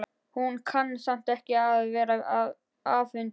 Hún kann samt ekki við að vera afundin.